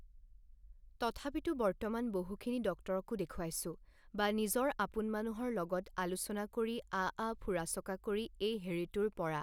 তথাপিতো বৰ্তমান বহুখিনি ডক্টৰকো দেখুৱাইছো বা নিজৰ আপোন মানুহৰ লগত আলোচনা কৰি আআ ফুৰা চকা কৰি এই হেৰিটোৰ পৰা